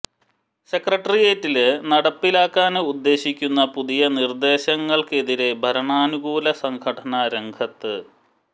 സെക്രട്ടേറിയറ്റില് നടപ്പിലാക്കാന് ഉദ്ദേശിക്കുന്ന പുതിയ നിര്ദ്ദേശങ്ങള്ക്കെതിരേ ഭരണാനുകൂല സംഘടന രംഗത്ത്